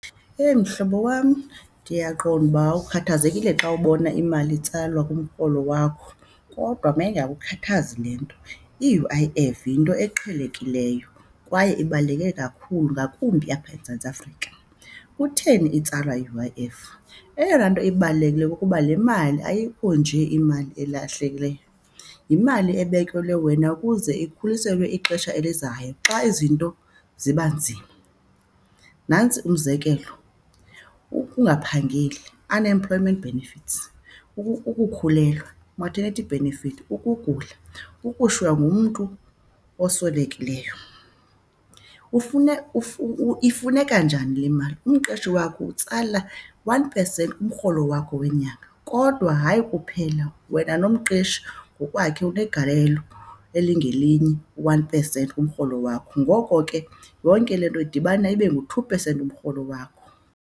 Eyi mhlobo wam ndiyaqonda ukuba ukhathazekile xa ubona imali itsalwa kumrholo wakho, kodwa mayingakukhathazi le nto. I-U_I_F yinto eqhelekileyo kwaye ibaluleke kakhulu, ngakumbi apha eMzantsi Afrika. Kutheni itsalwa i-U_I_F, eyona nto ibalulekileyo kukuba le mali ayikho nje imali elahlekileyo, yimali ebekelwe wena ukuze ikhuliselwe ixesha elizayo xa izinto ziba nzima. Nantsi umzekelo, ukungaphangeli unemployment benefits, ukukhulelwa maternity benefit, ukugula, ukushiywa ngumntu oswelekileyo, ifuneka njani le mali. Umqeshi wakho utsala one percent kumrholo wakho wenyanga kodwa hayi kuphela wena, nomqeshi ngokwakhe unegalelo elingelinye one percent kumrholo wakho. Ngoko ke yonke le nto idibana ibe ngu-two percent kumrholo wakho.